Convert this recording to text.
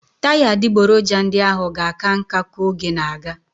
Taya adịgboroja ndị ahụ ga-aka nká ka oge na-aga.